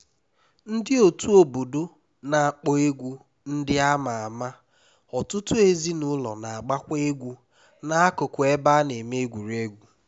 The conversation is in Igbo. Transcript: ndị otu obodo na-akpọ egwu ndị a ma ama ọtụtụ ezinụlọ na-agbakwa egwu n'akụkụ ebe a na-eme egwuregwu